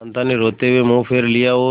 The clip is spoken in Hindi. कांता ने रोते हुए मुंह फेर लिया और